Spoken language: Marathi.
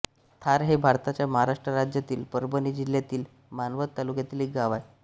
थार हे भारताच्या महाराष्ट्र राज्यातील परभणी जिल्ह्यातील मानवत तालुक्यातील एक गाव आहे